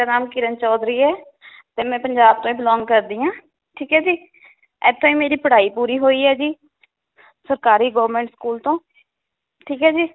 ਮੇਰਾ ਨਾਮ ਕਿਰਨ ਚੌਧਰੀ ਹੈ ਤੇ ਮੈ ਪੰਜਾਬ ਤੋਂ ਈ belong ਕਰਦੀ ਹਾਂ ਠੀਕ ਹੈ ਜੀ ਇਥੇ ਈ ਮੇਰੀ ਪੜ੍ਹਾਈ ਪੂਰੀ ਹੋਈ ਹੈ ਜੀ ਸਰਕਾਰੀ government school ਤੋਂ ਠੀਕ ਏ ਜੀ